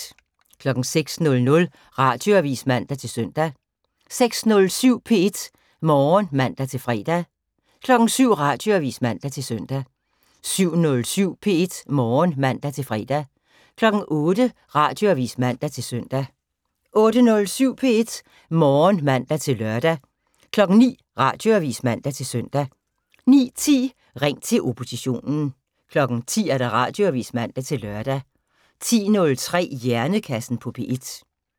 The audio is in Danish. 06:00: Radioavis (man-søn) 06:07: P1 Morgen (man-fre) 07:00: Radioavis (man-søn) 07:07: P1 Morgen (man-fre) 08:00: Radioavis (man-søn) 08:07: P1 Morgen (man-lør) 09:00: Radioavis (man-søn) 09:10: Ring til oppositionen 10:00: Radioavis (man-lør) 10:03: Hjernekassen på P1